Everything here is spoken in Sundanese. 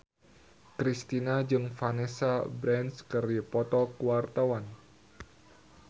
Kristina jeung Vanessa Branch keur dipoto ku wartawan